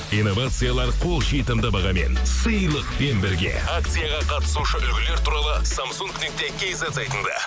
инновациялар қол жетімді бағамен сыйлықпен бірге акцияға қатысушы үлгілер туралы самсунг нүкте кизет сайтында